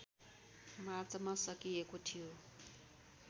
मार्चमा सकिएको थियो